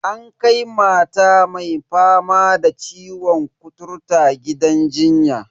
An kai mata mai fama da ciwon kuturta gidan jinya.